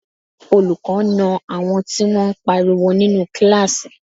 Olùkọ́ na àwọn tí wọ́n pariwo nínú kíláàsì